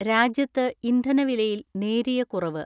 രാജ്യത്ത് ഇന്ധന വിലയിൽ നേരിയ കുറവ്.